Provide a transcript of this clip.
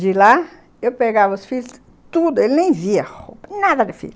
De lá eu pegava os filhos, tudo, ele nem via roupa, nada de filho.